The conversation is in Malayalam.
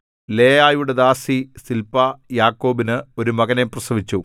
ലേയായുടെ ദാസി സില്പാ യാക്കോബിന് ഒരു മകനെ പ്രസവിച്ചു